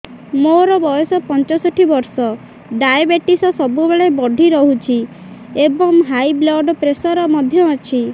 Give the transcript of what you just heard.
ମୋର ବୟସ ପଞ୍ଚଷଠି ବର୍ଷ ଡାଏବେଟିସ ସବୁବେଳେ ବଢି ରହୁଛି ଏବଂ ହାଇ ବ୍ଲଡ଼ ପ୍ରେସର ମଧ୍ୟ ଅଛି